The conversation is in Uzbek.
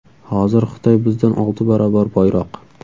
Hozir Xitoy bizdan olti barobar boyroq.